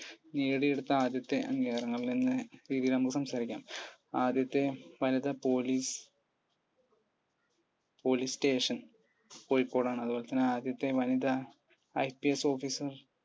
നേടിയെടുത്ത ആദ്യത്തെ അംഗീകാരങ്ങളിൽ നിന്ന് ഇനി നമുക്ക് സംസാരിക്കാം ആദ്യത്തെ വനിതാ police police station കോഴിക്കോട് ആണ് അതുപോലെത്തന്നെ വനിതാ IPSofficer